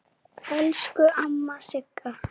Elsku amma Sigga.